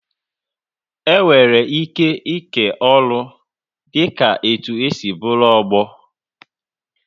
Enwere ike ịke ọrụ dị ka etu e si bụrụ ọgbọ